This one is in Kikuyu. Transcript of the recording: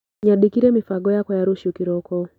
Nyandĩkire mĩbango yakwa ya rũciũ kĩroko.